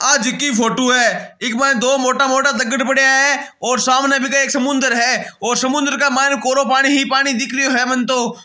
आज की फोटो है एअक बार दो मोटा मोटा पड़ीया है और सामने वीके एक समुन्द्र है और समुन्द्र के मायने कोरो पानी ही पानी दिख रयो है मन तो --